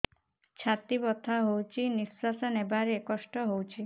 ଛାତି ବଥା ହଉଚି ନିଶ୍ୱାସ ନେବାରେ କଷ୍ଟ ହଉଚି